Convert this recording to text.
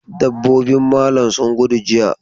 Dabbobin malam sun gudu jiya.